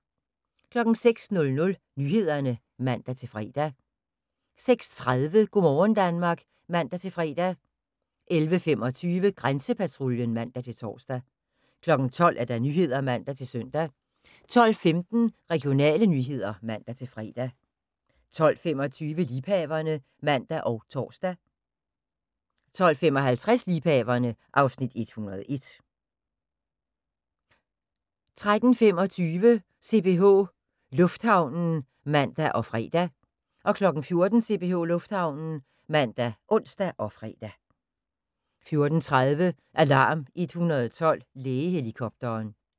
06:00: Nyhederne (man-fre) 06:30: Go' morgen Danmark (man-fre) 11:25: Grænsepatruljen (man-tor) 12:00: Nyhederne (man-søn) 12:15: Regionale nyheder (man-fre) 12:25: Liebhaverne (man og tor) 12:55: Liebhaverne (Afs. 101) 13:25: CPH Lufthavnen (man og fre) 14:00: CPH Lufthavnen (man og ons-fre) 14:30: Alarm 112 - Lægehelikopteren